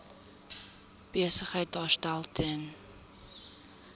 besigheid daarstel ten